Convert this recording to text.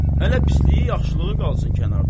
Hələ pisliyi, yaxşılığı qalsın kənarda.